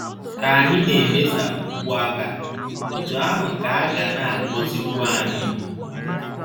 Ka anyị na - emesapụkwu aka, otú ahụ ka a ga na - agọzikwu anyị.